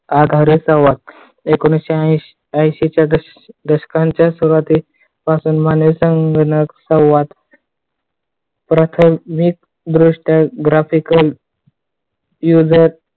एकोणविशे अंशीच्या दशकाच्या सुरुवातीस मानवी संगणक सहवास प्राथमिक दृष्ट्या graphical user